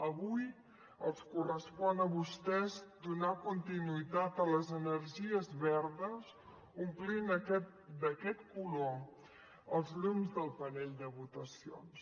avui els correspon a vostès donar continuïtat a les energies verdes omplint d’aquest color els llums del panell de votacions